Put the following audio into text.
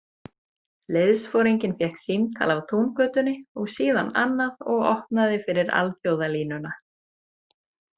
Liðsforinginn fékk símtal af Túngötunni og síðan annað og opnaði fyrir alþjóðalínuna.